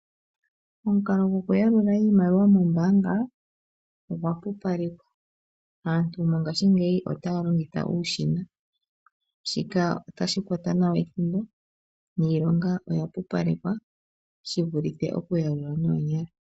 Omukalo gokuyalula iimaliwa mombanga ogwa pupalekwa aantu mongashingeyi otaya longitha uushina shika otashi kwata nawa ethimbo niilonga oya pupalekwa shivulithe okuyalula noonyala.